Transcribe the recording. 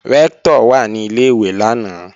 Rẹ́ktọ̀ wà ní Ilé-ìwé lánàá